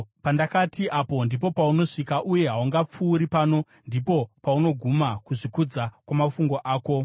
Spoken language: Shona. pandakati, ‘Apa ndipo paunosvika uye haungapfuuri; pano ndipo panoguma kuzvikudza kwamafungu ako’?